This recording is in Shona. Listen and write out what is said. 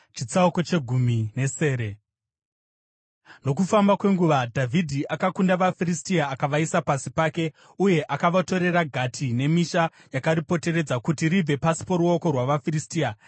Nokufamba kwenguva, Dhavhidhi akakunda vaFiristia akavaisa pasi pake, uye akavatorera Gati nemisha yakaripoteredza kuti ribve pasi poruoko rwavaFiristia.